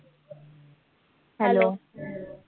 Hello